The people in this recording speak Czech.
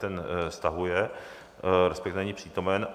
Ten stahuje, respektive není přítomen.